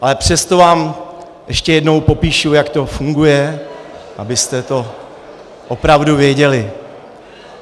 Ale přesto vám ještě jednou popíšu, jak to funguje, abyste to opravdu věděli.